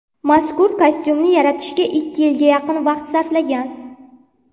Mazkur kostyumni yaratishga ikki yilga yaqin vaqt sarflangan.